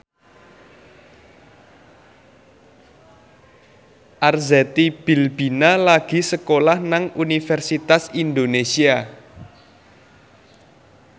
Arzetti Bilbina lagi sekolah nang Universitas Indonesia